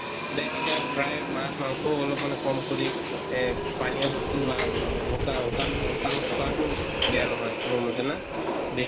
এতিয়া প্ৰায় মাছ মাংস ও অলপ্মান কম কৰি এ পানীয়া বস্তু বা শু শুকান শুকান খোৱা তো বেয়া নহয়, মোৰ মতে না ? বেছি